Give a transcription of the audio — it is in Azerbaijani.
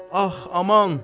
Ax aman!